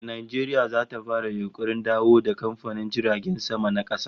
Eh, Najeriya ta fara yunkurin dawo da kamfanin jiragen sama na kasa